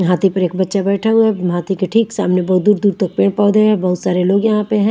हाथी पर एक बच्चा बैठा हुआ है हाथी के ठीक सामने बहोत दूर दूर तक पेड़ पौधे है बहोत सारे लोग यहाँ पे हैं।